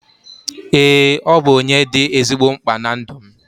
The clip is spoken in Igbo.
Eee, ọ bụ onye dị ezigbo mkpa na ndụ m